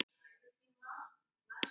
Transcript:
Þá var sko mikið hlegið.